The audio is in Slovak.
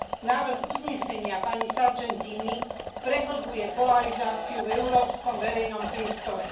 Návrh uznesenia pani Sargentini prehlbuje polarizáciu v európskom verejnom priestore.